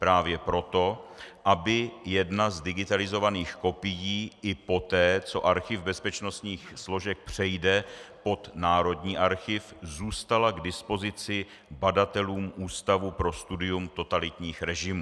Právě proto, aby jedna z digitalizovaných kopií i poté, co Archiv bezpečnostních složek přejde pod Národní archiv, zůstala k dispozici badatelům Ústavu pro studium totalitních režimů.